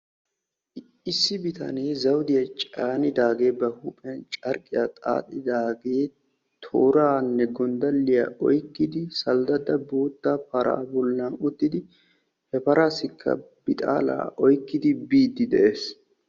issi bitanee zawuddiya caanidaagee ba huuphiyan carqqiya xaaxidage tooraanne gonddalliya oyqqiidi saldadda bootta paraa bollan uttidi he paraassikka bixaala oyqqidi biidi de'ees.